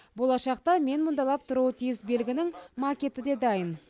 болашақта менмұңдалап тұруы тиіс белгінің макеті де дайын